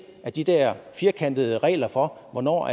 at de der firkantede regler for hvornår